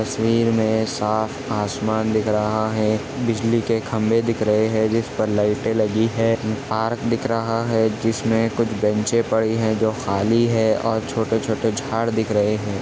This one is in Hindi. तस्वीर में साफ आसमान दिख रहा है बिजली के खंभे दिख रहे है जिस पर लाइटे लगी है पार्क दिख रहा है जिसमें कुछ बेन्चे पड़ी है जो खाली है और छोटे -छोटे झाड़ दिख रहे हैं।